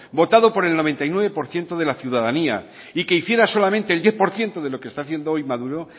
votado por el noventa y nueve por ciento de la ciudadanía y que hiciera solamente el diez por ciento de lo que está haciendo hoy maduro